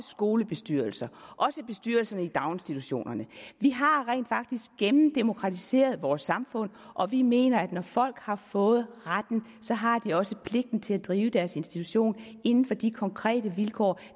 skolebestyrelser også bestyrelser i daginstitutionerne vi har rent faktisk gennemdemokratiseret vores samfund og vi mener at når folk har fået retten så har de også pligten til at drive deres institution inden for de konkrete vilkår